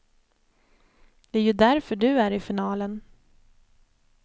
Det är ju därför du är i finalen.